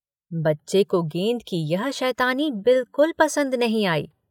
बच्चे को गेंद की यह शैतानी बिल्कुल पसन्द नहीं आई।